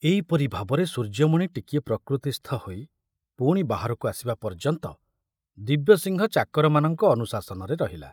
ଏଇପରି ଭାବରେ ସୂର୍ଯ୍ୟମଣି ଟିକିଏ ପ୍ରକୃତିସ୍ଥ ହୋଇ ପୁଣି ବାହାରକୁ ଆସିବା ପର୍ଯ୍ୟନ୍ତ ଦିବ୍ୟସିଂହ ଚାକରମାନଙ୍କ ଅନୁଶାସନରେ ରହିଲା।